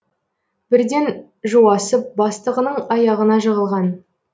бірден жуасып бастығының аяғына жығылған